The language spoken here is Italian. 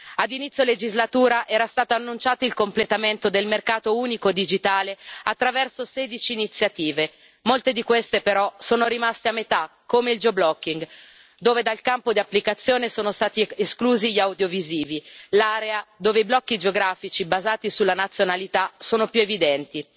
Ad inizio legislatura era stato annunciato il completamento del mercato unico digitale attraverso 16 iniziative molte di queste, però, sono rimaste a metà, come il geo blocking dove dal campo di applicazione sono stati esclusi gli audiovisivi, l'area dove i blocchi geografici basati sulla nazionalità sono più evidenti.